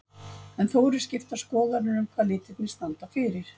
En þó eru skiptar skoðanir um hvað litirnir standa fyrir.